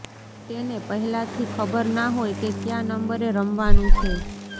તેને પહેલાથી ખબર ના હોય કે ક્યા નંબરે રમવાનું છે